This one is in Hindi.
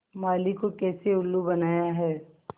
माली को कैसे उल्लू बनाया है